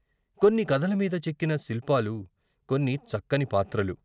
కొన్ని కథలమీద చెక్కిన శిల్పాలు కొన్ని చక్కని పాత్రలు....